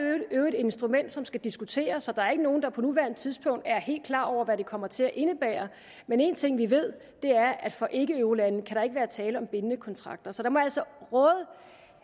instrument som skal diskuteres så der er ikke nogen der på nuværende tidspunkt er helt klar over hvad det kommer til at indebære men én ting vi ved er at for ikkeeurolande kan der ikke være tale om bindende kontrakter så der må jeg altså råde